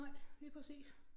Nej lige præcis